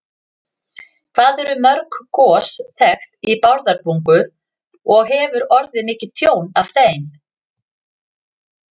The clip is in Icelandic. Hvað eru mörg gos þekkt í Bárðarbungu og hefur orðið mikið tjón af þeim?